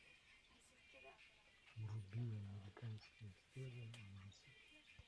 вруби американская история ужасов